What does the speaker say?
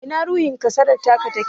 Ina ruhin kasadar taka yake?